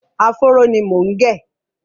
Áfóró ni mò ń gẹ̀.